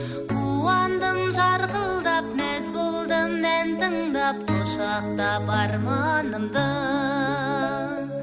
қуандым жарқылдап мәз болдым ән тыңдап құшақтап арманымды